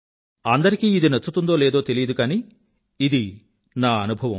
అందరికీ ఇది నచ్చుతుందో లేదో తెలీదు కానీ ఇది నా అనుభవం